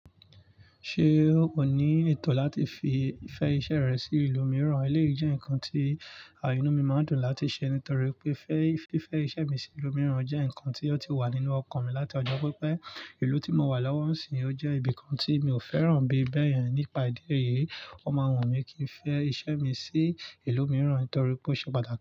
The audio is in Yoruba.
Ṣé o ní ètò láti fi fẹ iṣẹ́ rẹ sí ìlú mìíràn? Eléyìí jẹ́ nǹkan tí inu mi máa ń dùn láti ṣe nítorí pé fẹ́, fífẹ iṣẹ́ mi sí ìlú mìíràn jẹ́ nǹkan tí ó ti wà nínú ọkàn mi láti ọjọ́ pípẹ́. Ìlú tí mò wà lọ́wọ́ ń sì ọ jẹ́ ibi kan tí mi ò fẹ́ràn bí bẹ́ẹ̀ yẹn. Nípa ìdí èyí, o máa wun mí kí n fẹ iṣẹ́ mi sí ìlú mìíràn nítorí pé ó ṣe pàtàkì.